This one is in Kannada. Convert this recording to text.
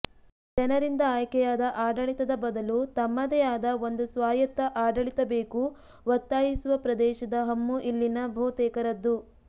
ಜನರಿಂದ ಆಯ್ಕೆಯಾದ ಆಡಳಿತದ ಬದಲು ತಮ್ಮದೇ ಆದ ಒಂದು ಸ್ವಾಯತ್ತ ಆಡಳಿತ ಬೇಕು ಒತ್ತಾಯಿಸುವ ಪ್ರದೇಶದ ಹಮ್ಮು ಇಲ್ಲಿನ ಬಹುತೇಕರದ್ದು